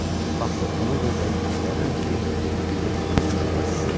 Baxdı ona görə dəqiq göstərirəm ki, birdən unutmuş olarsınız.